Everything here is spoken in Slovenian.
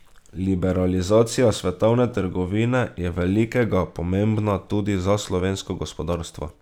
Liberalizacija svetovne trgovine je velikega pomembna tudi za slovensko gospodarstvo.